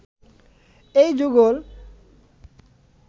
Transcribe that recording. এই যুগল